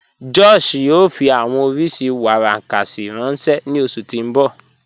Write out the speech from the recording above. Josh yóò fí awọn oriṣí warankasi ranṣẹ ni oṣù tí n bọ́